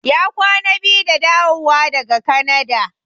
Ya kwana biyu da dawowa daga Kanada.